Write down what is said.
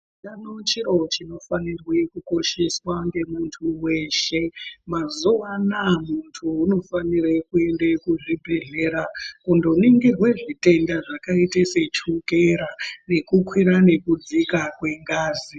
Utano chiro chinofanirwe kukosheswa ngemuntu weshe mazuwa anaya muntu unofanire kuenda kuzvibhedhlera kundoningirwe zvitenda zvakaite sechukera nekukwira nekudzika kwengazi.